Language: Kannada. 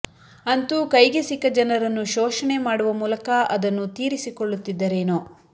ಅಂತೂ ಕೈಗೆ ಸಿಕ್ಕ ಜನರನ್ನು ಶೋಷಣೆ ಮಾಡುವ ಮೂಲಕ ಅದನ್ನು ತೀರಿಸಿಕೊಳ್ಳುತ್ತಿದ್ದರೇನೊ